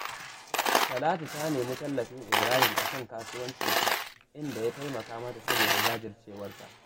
Talatu ta nemi tallafin Ibrahim a kan kasuwancinta, inda ya taimaka mata saboda jajircewarta